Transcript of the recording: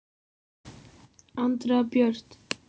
Andrea Björt.